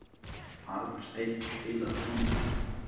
Arnsteinn, spilaðu tónlist.